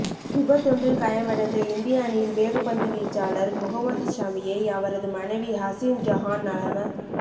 விபத்தொன்றில் காயமடைந்த இந்திய அணியின் வேகப்பந்து வீச்சாளர் முஹமட் ஷமியை அவரது மனைவி ஹசின் ஜஹான் நலம